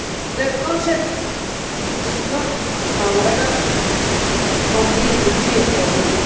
The concept is not, however, completely clear for me.